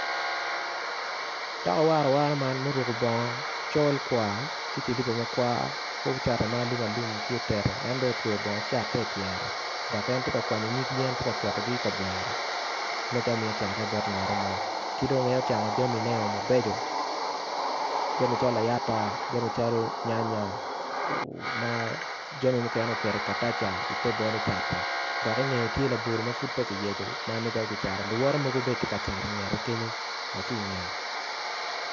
Toka awarawara man muruko bongo col kwar ki cilipa en bene otweyo bongo cate i pyere dok en tye ka coko nyig yen tye ka ketone i kabwere ki dong en ocano jamine mabeco jami calo layata jami calo nyanya jami muken oketo i te bolo cate dok i ngeye ty elabolo ma pud peya kiyeci luwote mogo gitye ka cat i ngete kenyu.